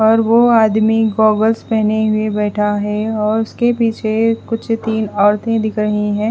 और वो आदमी गोगल्स पहने हुए बैठा है और उसके पीछे कुछ तीन औरतें दिख रही हैं।